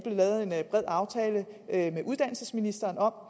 lavet en bred aftale med uddannelsesministeren om